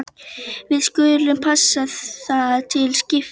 Við skulum passa það til skiptis.